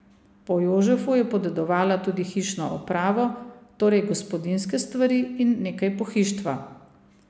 Po Jožefu je podedovala tudi hišno opravo, torej gospodinjske stvari in nekaj pohištva.